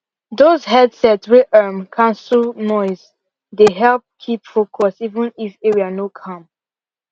those headset wey um cancel noise dey help keep focus even if area no calm